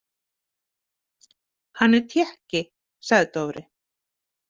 Hann er Tékki, sagði Dofri.